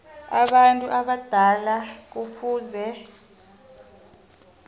abantu abadala kufuze